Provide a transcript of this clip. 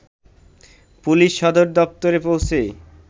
police সদর দপ্তরে পৌঁছে